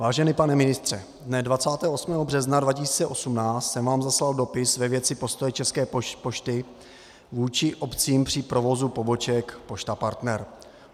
Vážený pane ministře, dne 28. března 2018 jsem vám zaslal dopis ve věci postoje České pošty vůči obcím při provozu poboček Pošta Partner.